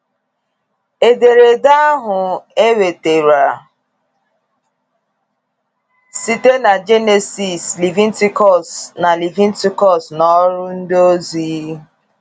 Ederede ahụ enwetere site na Jenesis, Levitikọs na Levitikọs na Ọrụ Ndịozi.